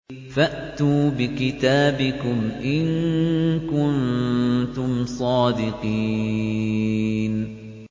فَأْتُوا بِكِتَابِكُمْ إِن كُنتُمْ صَادِقِينَ